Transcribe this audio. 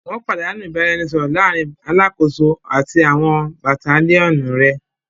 Wọn padanu ibaraẹnisọrọ laarin Alakoso ati àwọn Battalionu rẹ